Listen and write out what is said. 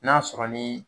N'a sɔrɔ ni